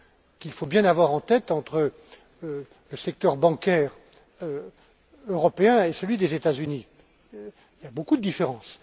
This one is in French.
qu'il faut bien avoir en tête, entre le secteur bancaire européen et celui des États Unis. Il y a beaucoup de différences.